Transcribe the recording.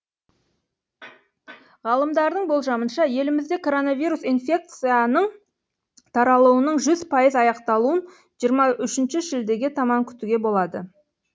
ғалымдардың болжамынша елімізде коронавирус инфекцияның таралуының жүз пайыз аяқталуын жиырма үшінші шілдеге таман күтуге болады